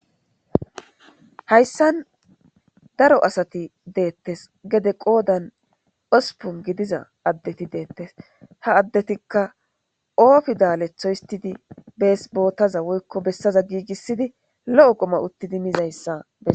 Haysan darro asati bettes qodan hosppun gididda asatti bettosona ha adetikka o fidale danizza kessi uttidi lo77o qumma utti mizzayssa beses.